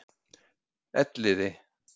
Elliði